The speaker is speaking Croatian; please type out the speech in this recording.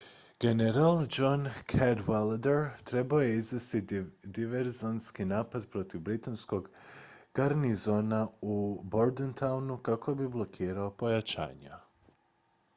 general john cadwalader trebao je izvesti diverzantski napad protiv britanskog garnizona u bordentownu kako bi blokirao pojačanja